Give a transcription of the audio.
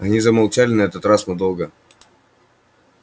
они замолчали на этот раз надолго